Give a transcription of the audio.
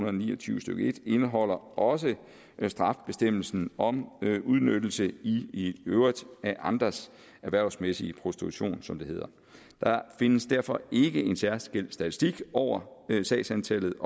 og ni og tyve stykke en indeholder også strafbestemmelsen om udnyttelse i øvrigt af andres erhvervsmæssige prostitution som det hedder der findes derfor ikke en særskilt statistik over sagsantallet